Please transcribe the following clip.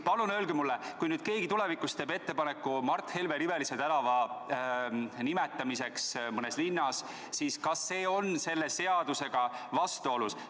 Palun öelge mulle, kas siis see, kui nüüd keegi tulevikus teeks ettepaneku Mart Helme nimelise tänava nimetamiseks mõnes linnas, oleks kõnealuse seadusega vastuolus.